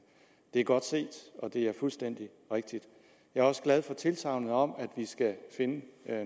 det er godt set og det er fuldstændig rigtigt jeg er også glad for tilsagnet om at vi skal finde